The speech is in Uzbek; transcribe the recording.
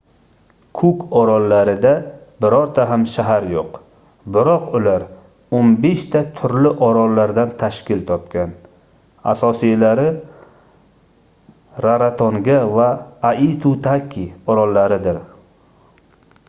kuk orollarida birorta ham shahar yoʻq biroq ular 15 ta turli orollardan tashkil topgan asosiylari rarotonga va aitutaki orollaridir